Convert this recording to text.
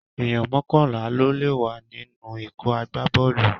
Èyàn mọ́kànlá ló lè wà ní ikọ̀ agbábọ́ọ̀lù